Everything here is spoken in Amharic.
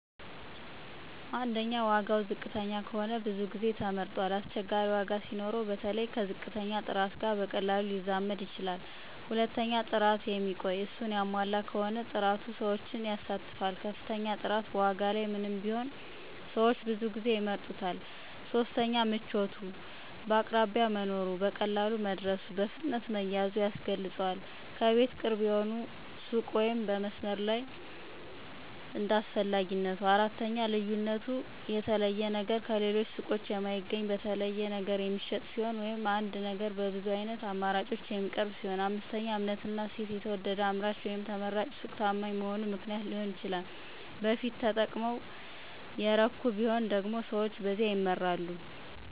1. ዋጋ ዋጋ ዝቅተኛ ከሆነ ብዙ ጊዜ ተመርጧል አስቸጋሪ ዋጋ ሲኖረው በተለይ ከተባረከ ጥራት ጋር በቀላሉ ሊጠምድ ይችላል 2. ጥራት የሚቆይ፣ እሱን ያሟላ በሆነ ጥራት ሰዎችን ይሳተፋል ከፍተኛ ጥራት በዋጋ ላይ ምንም ቢኖር ሰዎች ብዙ ጊዜ ይምረጡታል 3. ምቾት አቅራቢያ መኖሩ፣ በቀላሉ መድረሱ፣ በፍጥነት መያዝ ያስገልጿል ከቤት ቅርብ የሆነ ሱቅ ወይም በመስመር ላይ እንደ 4. ልዩነት የተለየ ነገር ከሌሎች ሱቆች የማይገኝ፣ በተለይ ነገር የሚሸጥ ሲሆን ወይም አንድ ነገር በብዙ ዓይነት አማራጮች የሚቀርብ ሲሆን 5. እምነትና እሴት የተወደደ አምራች ወይም ተመራጭ ሱቅ ታማኝ መሆኑ ምክንያት ሊሆን ይችላል በፊት ተጠቀመና ተረካ ቢሆን ደግሞ ሰዎች በዚያ ይመራሉ